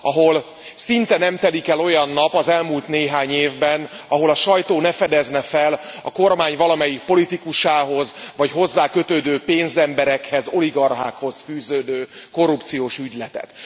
Ahol szinte nem telt el olyan nap az elmúlt néhány évben, amikor a sajtó fel ne fedezett volna a kormány valamelyik politikusához vagy hozzá kötődő pénzemberekhez, oligarchákhoz fűződő korrupciós ügyletet.